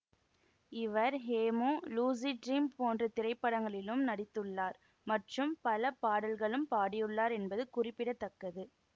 இவர் Hemu lucid dream போன்ற திரைப்படங்களிலும் நடித்துள்ளார் மற்றும் பல பாடல்களும் பாடியுள்ளார் என்பது குறிப்பிட தக்கது